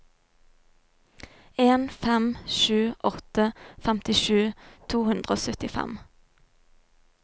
en fem sju åtte femtisju to hundre og syttifem